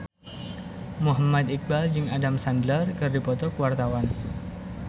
Muhammad Iqbal jeung Adam Sandler keur dipoto ku wartawan